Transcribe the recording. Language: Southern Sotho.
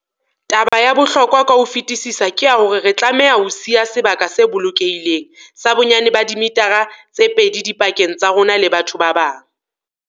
Taba ya bohlokwa ka ho fetisisa ke ya hore re tlameha ho siya sebaka se bolokehileng sa bonyane ba dimithara tse pedi dipakeng tsa rona le batho ba bang.